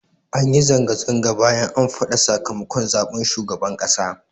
Anyi zanga-zanga bayan an faɗa sakamakon zaɓen shugaban ƙasa